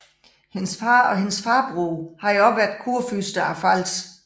Hendes far og hendes farbror havde også været kurfyrster af Pfalz